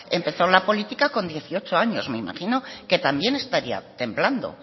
empezó la política con dieciocho años me imagino que también estaría temblando